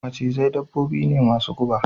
Macizai dabbobi ne masu guba